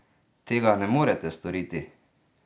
Tega ne morete storiti!